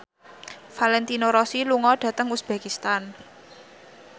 Valentino Rossi lunga dhateng uzbekistan